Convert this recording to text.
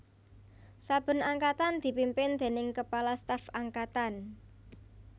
Saben Angkatan dipimpin déning Kepala Staf Angkatan